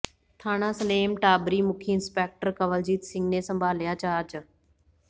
ਥਾਣਾ ਸਲੇਮ ਟਾਬਰੀ ਮੁਖੀ ਇੰਸਪੈਕਟਰ ਕੰਵਲਜੀਤ ਸਿੰਘ ਨੇ ਸੰਭਾਲਿਆ ਚਾਰਜ